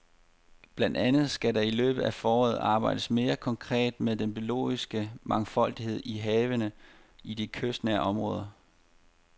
Blandt andet skal der i løbet af foråret arbejdes mere konkret med den biologiske mangfoldighed i havene og i de kystnære områder.